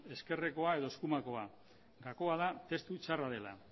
ezkerrekoa edo eskumakoa gakoa da testu txarra dela